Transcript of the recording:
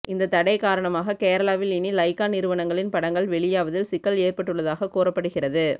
இந்த தடை காரணமாக கேரளாவில் இனி லைகா நிறுவனங்களின் படங்கள் வெளியாவதில் சிக்கல் ஏற்பட்டுள்ளதாக கூறப்படுகிறது